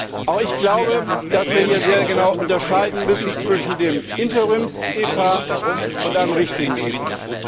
Auch ich glaube, dass wir hier sehr genau unterscheiden müssen zwischen dem Interims EPA und einem richtigen EPA.